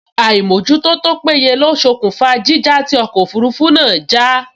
Àìmójútó tó péye ló ṣokùnfà jíjà tí ọkọ̀ òfurufú náà já